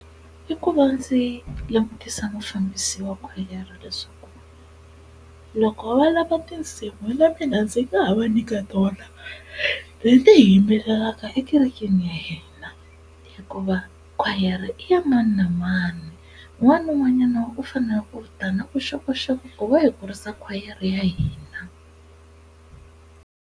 I ku va ndzi langutisa mufambisi wa khwayere leswaku loko va lava tinsimu na mina ndzi nga ha va nyika tona leti yimbelelaka ekerekeni ya hina hikuva khwayere i ya mani na mani un'wana ni un'wanyana u fanele ku ta na vuxokoxoko ku va hi kurisa khwayere ya hina.